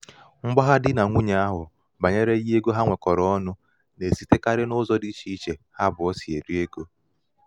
mgbagha di nà nwunye ahụ̀ bànyere ihe ego ha nwèkọ̀rọ̀ ọnụ̄ nà-èsitekarị n’ụzọ dị ichè ichè ha àbụọ̄ sì èri egō